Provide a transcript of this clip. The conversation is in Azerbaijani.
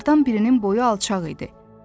Onlardan birinin boyu alçaq idi.